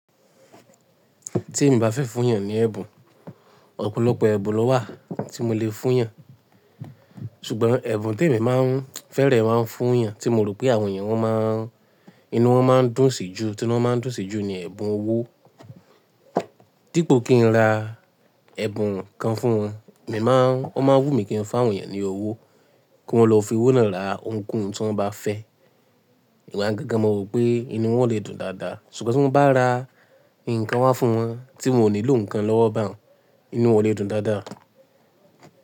Tí èmi bá fẹ́ fún èèyàn ní ẹ̀bùn, ọ̀pọ̀lọpọ̀ ẹ̀bùn ló wà tí mo lè fún èèyàn. Ṣùgbọ́n ẹ̀bùn tí èmi má ń fẹ́reẹ̀ máa ń fún èèyàn, tí mo rò pé àwọn èèyàn wọn má a, inú wọn máa ń dùn sí jù, tí wọn máa ń dùn sí jù ni ẹ̀bùn owó. Dípo kí n ra ẹ̀bùn kan fún wọn, èmi má ń, wọ́n máa ń wù mí kí n fa àwọn èèyàn ní owó, kí wọ́n lọ fi owó náà ra ohunkóhun tí wọ́n bá fẹ́. Igba yen gẹ́gẹ́ mo rò pé inú wọn lè dùn dáadáa. Ṣùgbọ́n tí mo bá ra ǹkan wá fún wọn, tí mo ò nílò ǹkan lọ́wọ́ bà ń, inú wọn lè dùn dáadáa.